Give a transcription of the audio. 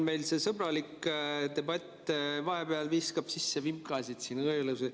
Meil see sõbralik debatt viskab vahepeal kuidagi vimkasid siin.